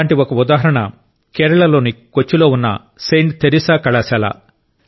అలాంటి ఒక ఉదాహరణ కేరళలోని కొచ్చిలో ఉన్న సెయింట్ తెరెసా కళాశాల